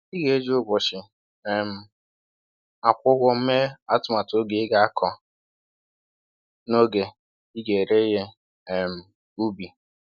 Ị ga-eji ụbọchị um akwụ ụgwọ mee atụmatụ oge ị ga-akọ na oge ị ị ga-ere ihe um ubi.